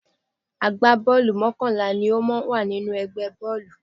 Àgbábọ́ọ̀lù mọ́kànlá ni ó máa ń wà nínú ẹgbẹ́ bọ́ọ̀lù